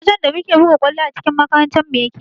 Wajen da muke buga ƙwallo a cikin makarantarmu yake